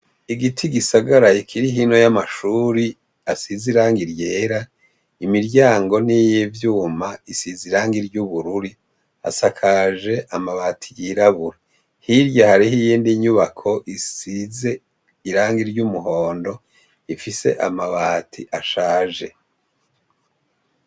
Igiti gisagaraye kirihino y'amashuri asize iranga iryera imiryango n'iyivyuma isize iranga iry' ubururi asakaje amabati yirabura hirya hariho iyindi nyubako isize iranga iry' umuhondo ifise amabati ashaje i.